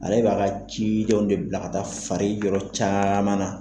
Ale b'a ka cidenw de bila ka taa fari yɔrɔ caman na.